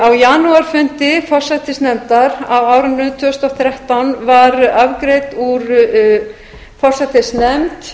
á janúarfundi forsætisnefndar á árinu tvö þúsund og þrettán var afgreidd úr forsætisnefnd